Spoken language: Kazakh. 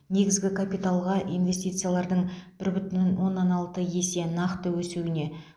негізгі капиталға инвестициялардың бір бүтін оннан алты есе нақты өсуіне